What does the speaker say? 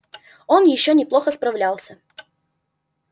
он ещё неплохо справлялся